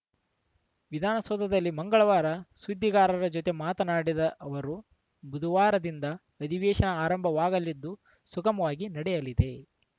ವಿಧಾನಸೌಧದಲ್ಲಿ ಮಂಗಳವಾರ ಸುದ್ದಿಗಾರರ ಜತೆ ಮಾತನಾಡಿದ ಅವರು ಬುಧವಾರದಿಂದ ಅಧಿವೇಶನ ಆರಂಭವಾಗಲಿದ್ದು ಸುಗಮವಾಗಿ ನಡೆಯಲಿದೆ